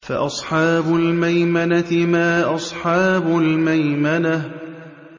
فَأَصْحَابُ الْمَيْمَنَةِ مَا أَصْحَابُ الْمَيْمَنَةِ